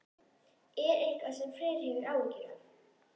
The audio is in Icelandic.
Er það eitthvað sem Freyr hefur áhyggjur af?